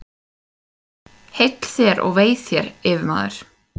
Heill þér og vei þér, yfirmaður!